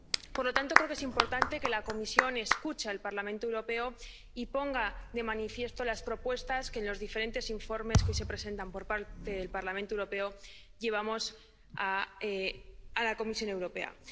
Por lo tanto, creo que es importante que la Comisión escuche al Parlamento Europeo y ponga de manifiesto las propuestas que, mediante los diferentes informes que presenta el Parlamento Europeo, llevamos a la Comisión Europea.